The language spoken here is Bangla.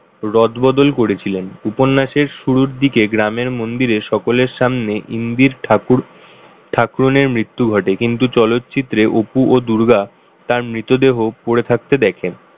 রদবদল করেছিলেন। উপন্যাসের শুরুর দিকে গ্রামের মন্দিরে সকলের সামনে ইন্দির ঠাকুর ঠাকুরণের মৃত্যু ঘটে কিন্তু চলচ্চিত্রে অপু ও দুর্গা তার মৃতদেহ পড়ে থাকতে দেখেন।